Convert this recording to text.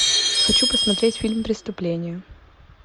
хочу посмотреть фильм преступление